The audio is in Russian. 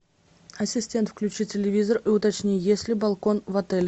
ассистент включи телевизор и уточни есть ли балкон в отеле